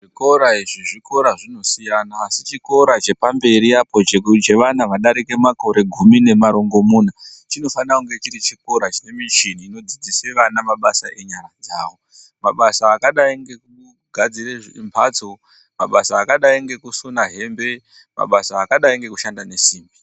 Zvikora izvi zvikora zvinosiyana asi chikora chepamberi apo chevana vadarike makore gumi nemarongomuna, chinofanira kunga chiri chikora chine michini inodzidzisw vana mabasa enyara dzawo. Mabasa akadai ngekugadzire mabtso, mabasa akadai ngekusona hembe, mabasa akadai nekushanda nesimbi.